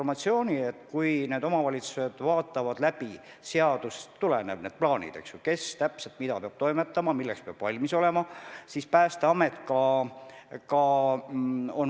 Pandeemiat defineeritakse laustaudina ja seda peetakse riikidevaheliseks haiguspuhanguks, mille suunda pole võimalik ette arvata.